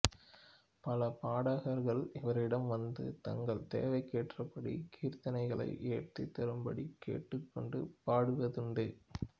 பல பாடகர்கள் இவரிடம் வந்து தங்கள் தேவைக்கேற்றபடி கீர்த்தனைகளை இயற்றித் தரும்படிக் கேட்டுக் கொண்டு பாடுவதுண்டு